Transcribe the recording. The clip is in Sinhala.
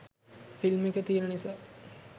ෆිල්ම් එක තියෙන නිසා